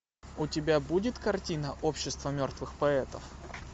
у тебя будет картина общество мертвых поэтов